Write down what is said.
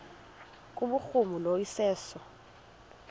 kubhuruma lo iseso